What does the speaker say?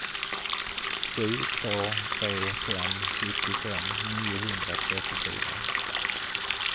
sju två tre fem sjuttiofem niohundratrettiofyra